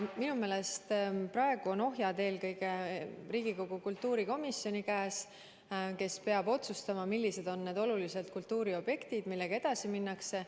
Minu meelest praegu on ohjad eelkõige Riigikogu kultuurikomisjoni käes, kes peab otsustama, millised on need olulised kultuuriobjektid, millega edasi minnakse.